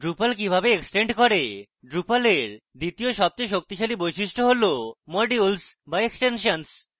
drupal কিভাবে extend করেdrupal এর দ্বিতীয় সবচেয়ে শক্তিশালী বৈশিষ্ট্য how modules বা extensions